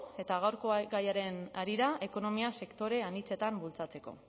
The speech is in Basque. eta gaurko gaiaren harira ekonomia sektore anitzetan bultzatzeko